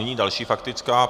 Nyní další faktická.